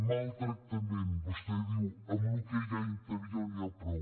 maltractament vostè diu amb el que hi ha a interior n’hi ha prou